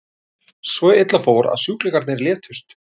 Svo illa fór að sjúklingarnir létust.